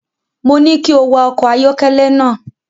Mo ní kí o wa ọkọ̀ ayọ́kẹ́lẹ́ náà.